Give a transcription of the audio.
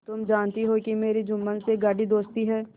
तुम जानती हो कि मेरी जुम्मन से गाढ़ी दोस्ती है